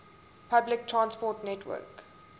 public transport network